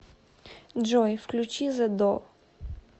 джой включи зэ до